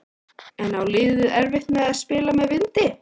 En á liðið erfitt með að spila með vindi?